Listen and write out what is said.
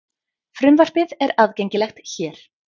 Frumvarpið er aðgengilegt hér